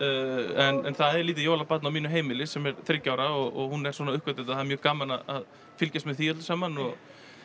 en það er lítið jólabarn á mínu heimili sem er þriggja ára og hún er svona að uppgötva þetta það er mjög gaman að fylgjast með því öllu saman og